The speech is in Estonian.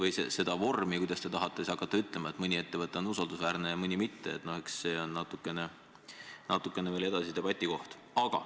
Aga see vorm, kuidas te tahate hakata ütlema, et mõni ettevõte on usaldusväärne ja mõni mitte, on veel edasise debati teema.